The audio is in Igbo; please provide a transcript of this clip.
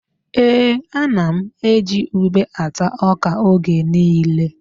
Ee, ana m eji ube ata ọ́kà oge niile.